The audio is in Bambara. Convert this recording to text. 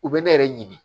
U bɛ ne yɛrɛ ɲini